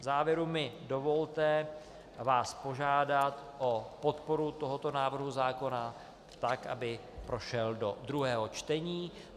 V závěru mi dovolte vás požádat o podporu tohoto návrhu zákona, tak aby prošel do druhého čtení.